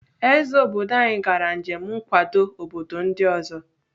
Ezé obodo anyi gara njem nkwado obodo ndị ọzọ.